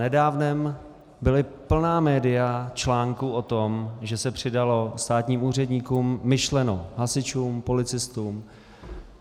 Přednedávnem byla plná média článků o tom, že se přidalo státním úředníkům, myšleno hasičům, policistům.